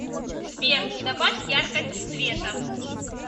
сбер добавь яркость света